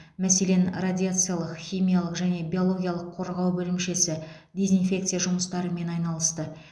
мәселен радиациялық химиялық және биологиялық қорғау бөлімшесі дезинфекция жұмыстарымен айналысты